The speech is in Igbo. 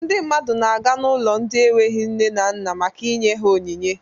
Ndị mmadụ na-aga n'ụlọ ndị enweghi nne maka inye ha onyinye.